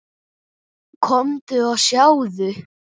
Komdu og sjáðu!